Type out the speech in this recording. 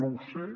no ho sé